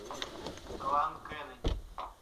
клан кеннеди